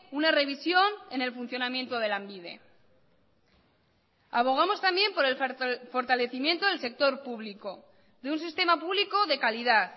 una revisión en el funcionamiento de lanbide abogamos también por el fortalecimiento del sector público de un sistema público de calidad